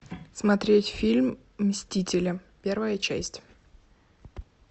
смотреть фильм мстители первая часть